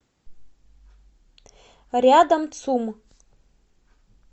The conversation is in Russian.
рядом цум